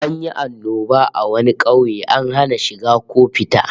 An yi annoba a wani kauye, an hana shiga ko fita